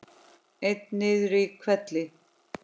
Einn niður í hvelli.